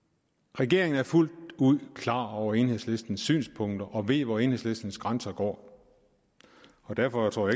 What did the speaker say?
regeringen er fuldt ud klar over enhedslistens synspunkter og ved hvor enhedslistens grænser går og derfor tror